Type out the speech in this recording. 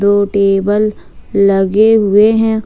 दो टेबल लगे हुए हैं।